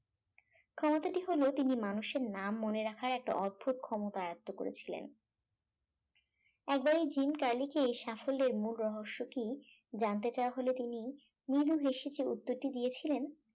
ক্ষমতাটি হল তিনি মানুষের নাম মনে রাখার একটা অদ্ভুত ক্ষমতা আয়ত্ত করেছিলেন একবার এই জিম কার্লিকে সাফল্যের মূল রহস্যটি জানতে চাওয়া হলে তিনি মৃদু হেসে কি উত্তরটি দিয়েছিলেন